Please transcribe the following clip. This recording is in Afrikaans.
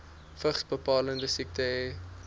vigsbepalende siekte hê